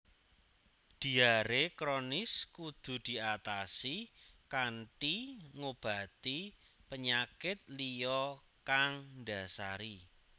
Diaré kronis kudu diatasi kanthi ngobati penyakit liya kang ndhasari